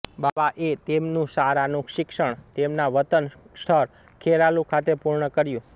બાવાએ તેમનું શાળાનું શિક્ષણ તેમના વતન સ્થળ ખેરાલુ ખાતે પૂર્ણ કર્યું